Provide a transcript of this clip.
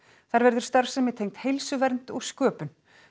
þar verður starfsemi tengd heilsuvernd og sköpun